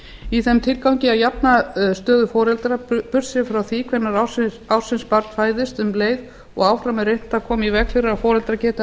í þeim tilgangi að jafna stöðu foreldra burt séð frá því hvenær ársins barn fæðist um leið og áfram er reynt að koma í veg fyrir að foreldrar geti